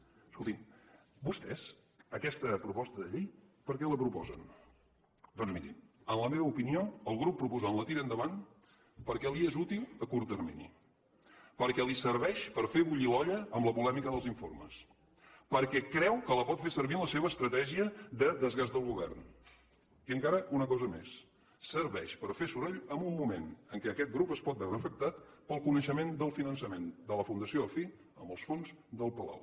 escoltin vostès aquesta proposta de llei per què la proposen doncs mirin en la meva opinió el grup proposant la tira endavant perquè li és útil a curt termini perquè li serveix per fer bullir l’olla amb la polèmica dels informes perquè creu que la pot fer servir en la seva estratègia de desgast del govern i encara una cosa més serveix per fer soroll en un moment en què aquest grup es pot veure afectat pel coneixement del finançament de la fundació afí amb els fons del palau